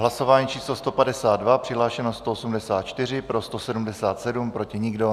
Hlasování číslo 152, přihlášeno 184, pro 177, proti nikdo.